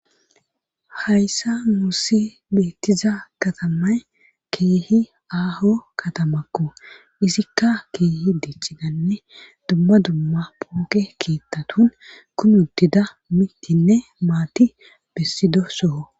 Hayssa nussi beettiza katamay keehi aaho katamakko izikka keehi dichiganne dumma dumma pooke keettatun kumu uddida mitinne maati bessido soho.